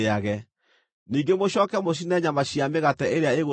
Ningĩ mũcooke mũcine nyama na mĩgate ĩrĩa ĩgũtigara.